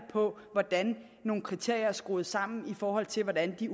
på hvordan nogle kriterier er skruet sammen i forhold til hvordan de